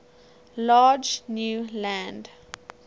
large new land